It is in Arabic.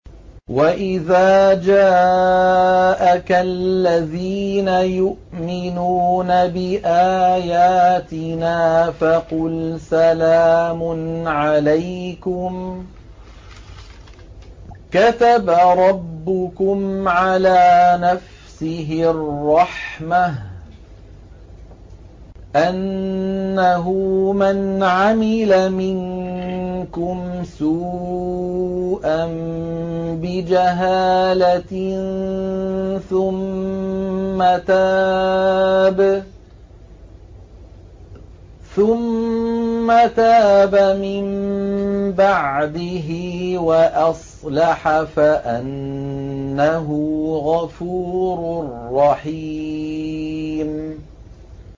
وَإِذَا جَاءَكَ الَّذِينَ يُؤْمِنُونَ بِآيَاتِنَا فَقُلْ سَلَامٌ عَلَيْكُمْ ۖ كَتَبَ رَبُّكُمْ عَلَىٰ نَفْسِهِ الرَّحْمَةَ ۖ أَنَّهُ مَنْ عَمِلَ مِنكُمْ سُوءًا بِجَهَالَةٍ ثُمَّ تَابَ مِن بَعْدِهِ وَأَصْلَحَ فَأَنَّهُ غَفُورٌ رَّحِيمٌ